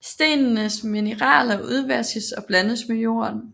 Stenenes mineraler udvaskes og blandes med jorden